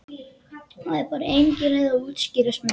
Það er bara engin leið að útskýra smekk.